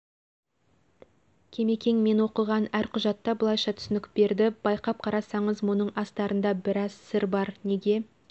кемекең мен оқыған әр құжатта былайша түсінік берді байқап қарасаңыз мұның астарында біраз сыр бар неге